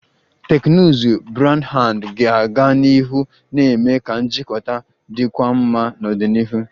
Teknụzụ Broadband ga-aga n'ihu na-eme ka njikọta dịkwuo mma n'ọdịnihu